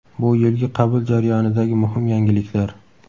Bu yilgi qabul jarayonidagi muhim yangiliklar.